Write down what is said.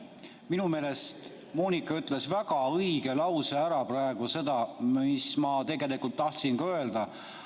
Minu meelest ütles Moonika väga õige lause praegu, seda, mis ma tegelikult tahtsin ka öelda.